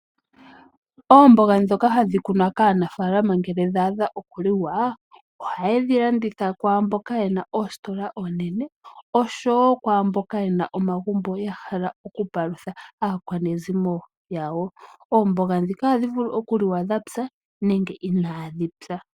Oomboga ndhoka hadhi kunwa kaanafaalama ngele dhaadha okuliwa, oha yedhi landitha kwaamboka yena oositola oonene osjowo kwaamboka yena omagumbo yahala oku palutha aakwanezimo yawo, oomboga ndhika ohadhi vulu okuliwa dhapya nenge okuliwa unaa dhipya.